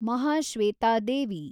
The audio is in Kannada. ಮಹಾಶ್ವೇತಾ ದೇವಿ